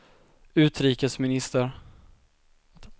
utrikesminister